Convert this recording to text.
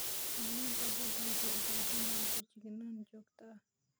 Xayawaanka badda waxay u baahan yihiin feejignaan joogto ah.